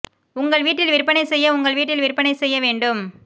உங்கள் வீட்டில் விற்பனை செய்ய உங்கள் வீட்டில் விற்பனை செய்ய வேண்டும்